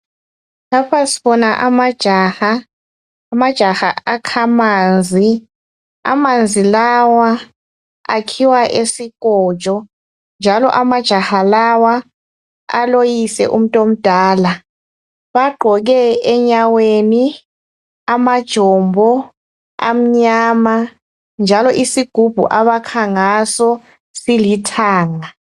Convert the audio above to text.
Lapha sibona amajaha, amajaha akha amanzi. Amanzi lawa akhiwa esikotsho njalo amajaha lawa aloyise umuntu omdala. Bagqoke enyaweni amajombo amnyama njalo isigubhu abakha ngaso silithanga.